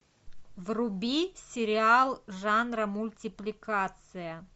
вруби сериал жанра мультипликация